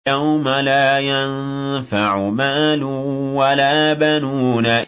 يَوْمَ لَا يَنفَعُ مَالٌ وَلَا بَنُونَ